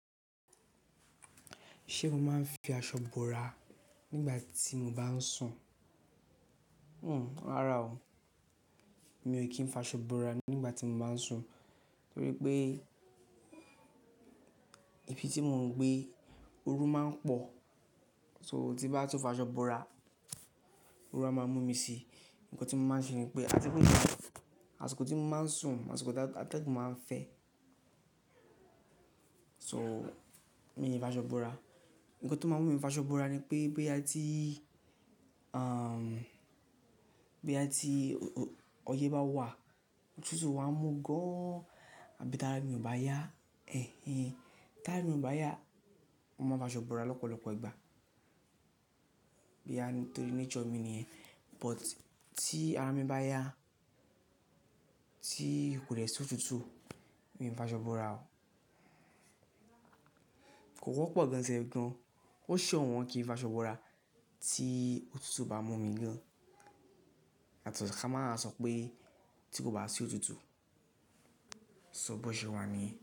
Ṣé mo máa ń fi aṣọ bora nígbà tí mo bá ń sùn? Hmm, ràrá o. Mi ò kí ń fi aṣọ bora nígbà tí mo bá ń sùn, torí pé ibi tí mò ń gbé ooru máa ń pọ̀. So tí bá tún fọ aṣọ bora, ooru a máa mú mi síi. Ǹkan tí mo máa ń ṣe ni pé, àti pé ní àsìkò tí mo máa ń sùn, àsìkò tí atẹ́gùn máa ń fẹ́. So, mi i fi aṣọ búra. Ǹkan tó máa ń mú mi fọ aṣọ bora ni pé, boya ti, boya ti ọyẹ́ bá wà, òtútù bá mú gan-an àbí tarami o bá yá taimu igba yi, mo máa fi aṣọ bora lọ́pọ̀lọpọ̀ ìgbà. Boya nitorí nature mi ni yẹ̀n. But tí ara mi bá yá, tí kò dè sì òtútù, mi ò fi aṣọ bora o. Kò wọ́pọ̀ gan ṣef gan. Ó ṣọ̀wọ́n kí n fi aṣọ bora tí òtútù bá mú mi gan yato si kán máwa sọ wipé tí kò bá sí òtútù, sọ bọ́ṣẹ́ wá niyen.